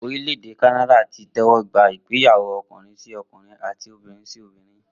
Orílẹ̀ èdè Kanada ti tẹ́wọ́ gba ìgbéyàwó ọkùnrin-sí-ọkùnrin àti obìnrin-sí-obìnrin